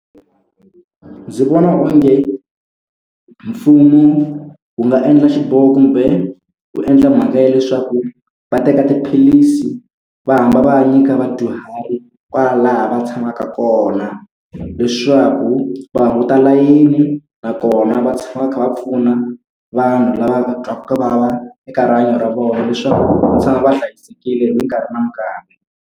Ndzi vona onge mfumo wu nga endla xiboho kumbe, wu endla mhaka ya leswaku va teka tiphilisi va hamba va nyika vadyuhari kwalaho va tshamaka kona, leswaku va hunguta layini. Nakona va tshama va kha va pfuna vanhu lava va twaka ku vava eka rihanyo ra vona leswaku va tshama va hlayisekile mikarhi na mikarhi.